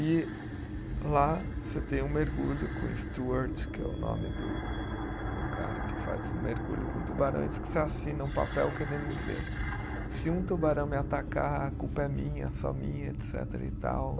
E lá você tem um mergulho com Stuart, que é o nome do do cara que faz mergulho com tubarões, que você assina um papel querendo dizer, se um tubarão me atacar, a culpa é minha, só minha, etecetera e tal